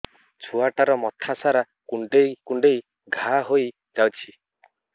ଛୁଆଟାର ମଥା ସାରା କୁଂଡେଇ କୁଂଡେଇ ଘାଆ ହୋଇ ଯାଇଛି